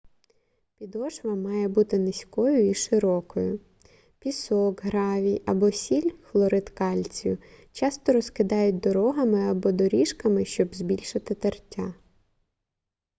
підошва має бути низькою і широкою. пісок гравій або сіль хлорид кальцію часто розкидають дорогами або доріжками щоб збільшити тертя